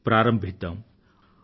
కొత్త సంవత్సరాన్ని ప్రారంభిద్దాం